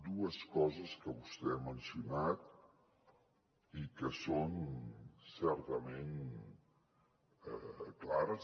dues coses que vostè ha mencionat i que són certament clares